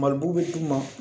Mali b'u bɛ d'u ma